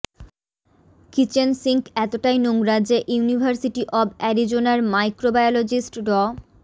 kitchen sink এতটাই নোংরা যে ইউনিভার্সিটি অব অ্যারিজোনার মাইক্রোবায়োলজিস্ট ড